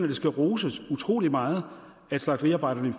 det skal roses utrolig meget at slagteriarbejderne i